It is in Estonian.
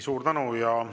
Suur tänu!